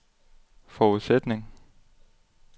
forudsætning